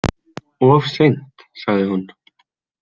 Of seint, sagði hún.